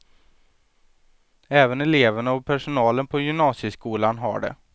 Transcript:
Även eleverna och personalen på gymnasieskolan har det.